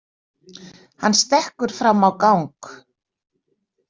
Hann stekkur fram á gang.